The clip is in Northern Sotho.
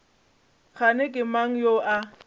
kgane ke mang yo a